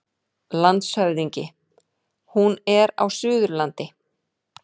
LANDSHÖFÐINGI: Hún er á Suðurlandi.